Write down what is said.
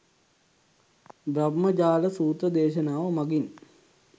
බ්‍රහ්මජාල සූත්‍ර දේශනාව මගින්,